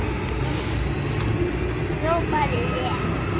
hrópaði ég.